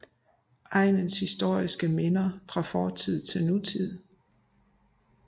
Egnens historiske minder fra fortid til nutid